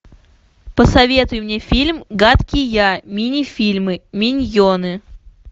посоветуй мне фильм гадкий я мини фильмы миньоны